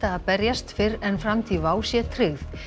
að berjast fyrr en framtíð WOW sé tryggð